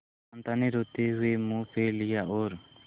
कांता ने रोते हुए मुंह फेर लिया और